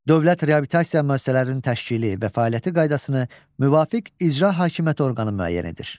Dövlət reabilitasiya müəssisələrinin təşkili və fəaliyyəti qaydasını müvafiq icra hakimiyyəti orqanı müəyyən edir.